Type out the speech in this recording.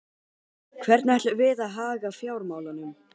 Hvernig ætlum við að haga fjármálunum?